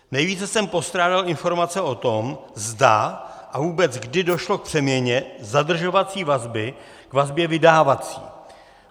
Nejvíce jsem postrádal informace o tom, zda a vůbec kdy došlo k přeměně zadržovací vazby k vazbě vydávací.